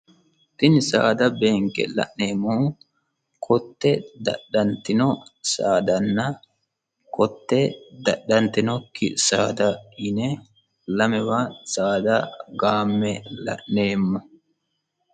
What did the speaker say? tini saada beenke la'neemmo kotte dadhantino saadanna kotte dadhantinokki saada yine lamewa saada gaamme la'neemmo